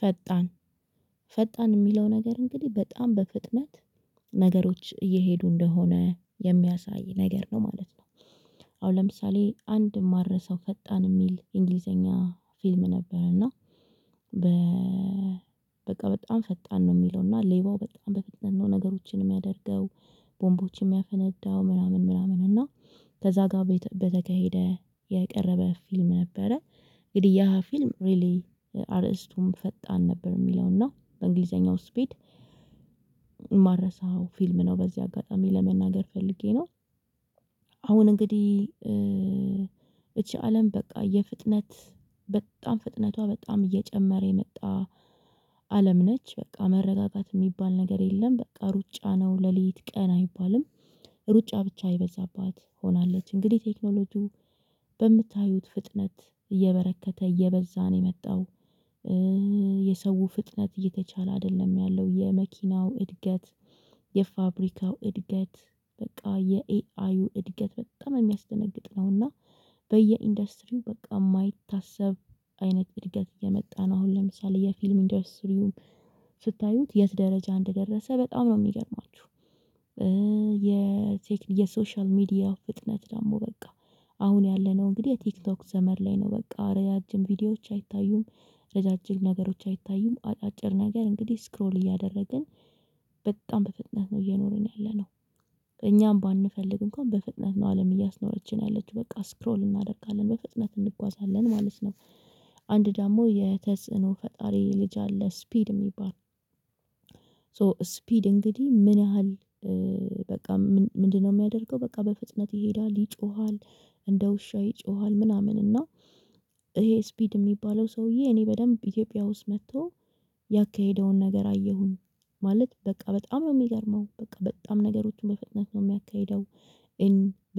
ፈጣን ፈጣን የሚለው ነገር እንግዲህ በጣም በፍጥነት ነገሮች እየሄዱ እንደሆነ የሚያሳይ ነገር ነው ማለት ነው። አሁን ለምሳሌ አንድ የማልረሳው ፈጣን የሚል እንግሊዘኛ ፊልም ነበር እና። በ በቃ በጣም ፈጣን ነው የሚለው እና ሌባው በጣም በፍጥነት ነው ነገሮችን የሚያደርገው ቦምቦችን የሚያፈነዳው ምናምን ምናምን እና ከዛ ጋር በተካሄደ የቀረበ ፊልም ነበረ። እንግዲህ ያ ፊልም ሪሊ አርእስቱም ፈጣን ነበር የሚለው እና በእንግሊዘኛው ስፒድ ማረሳው ፊልም ነው በዚህ አጋጣሚ ለመናገር ፈልጌ ነው። አሁን እንግዲህ እቺ አለም በቃ የፍጥነት በጣም ፍጥነቷ በጣም እየጨመረ የመጣ አለም ነች በቃ መረጋጋት የሚባል ነገር የለም። በቃ ሩጫ ነው ለሌሊት ቀን አይባልም ሩጫ ብቻ የበዛባት ሆናለች። እንግዲህ ቴክኖሎጂው በምታዩት ፍጥነት እየበረከተ እየበዛ ነው የመጣው። የሰው ፍጥነት እየተቻለ አይደለም ያለው የመኪናው እድገት የፋብሪካው እድገት በቃ የኤአዩ እድገት በጣም የሚያስደነግጥ ነውና። በየኢንዱስትሪው በቃ የማይታሰብ አይነት እድገት እየመጣ ነው። አሁን ለምሳሌ የፊልም ኢንዱስትሪውን ስታዩት የት ደረጃ እንደደረሰ በጣም ነው የሚገርማችሁ። የሶሻል ሚዲያ ፍጥነት ደግሞ በቃ አሁን ያለነው እንግዲህ የቲክቶክ ዘመን ላይ ነው በቃ ረዣጅም ቪዲዮዎች አይታዩም። ረዣዥም ነገሮች አይታዩም አጫጭር ነገር እንግዲህ ስክሮል እያደረግን በጣም በፍጥነት ነው የኖርን ያለነው። ከእኛም ባንፈልግ እንኳን በፍጥነት ነው አለም እያስኖረችን ያለችው በቃ ስክሮል እናደርጋለን በፍጥነት እንጓዛለን ማለት ነው። አንድ ደግሞ የተጽእኖ ፈጣሪ ልጅ አለ ስፒድ የሚባል ሶ ስፒድ እንግዲህ ምን ያህል በቃ ምንድነው የሚያደርገው? በቃ በፍጥነት ይሄዳል ይጮሃል። እንደ ውሻ ይጮሃል ምናምን እና ይሄ ስፒድ የሚባለው ሰውዬ እኔ በደንብ ኢትዮጵያ ውስጥ መጥቶ። ያካሄደውን ነገር አየሁኝ ማለት በቃ በጣም ነው የሚገርመው በቃ በጣም ነገሮችን በፍጥነት ነው የሚያካሂደው።